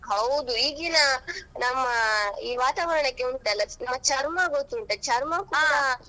ಹೌದು ಈಗಿನ ನಮ್ಮ ಈ ವಾತಾವರಣಕ್ಕೆ ಉಂಟಲ್ಲಾ ನಮ್ಮ ಚರ್ಮ ಗೊತ್ತುಂಟಾ ಚರ್ಮ .